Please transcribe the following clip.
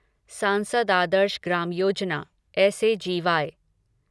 सांसद आदर्श ग्राम योजना एस ए जी वाई